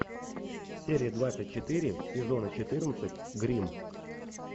серия двадцать четыре сезона четырнадцать гримм